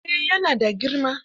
Eh, ya na da girma